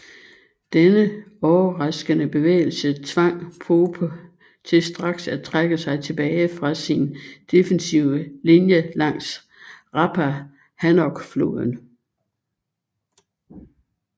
Denne overraskende bevægelse tvang Pope til straks at trække sig tilbage fra sin defensive linje langs Rappahannockfloden